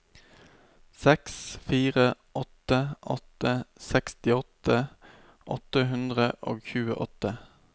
seks fire åtte åtte sekstiåtte åtte hundre og tjueåtte